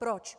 Proč?